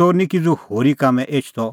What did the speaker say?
च़ोर निं किज़ू होरी कामैं एछदअ